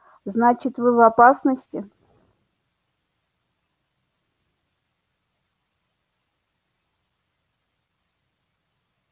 значит вы в опасности